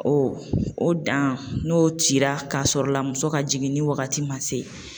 o dan n'o cira k'a sɔrɔ la muso ka jiginni wagati ma se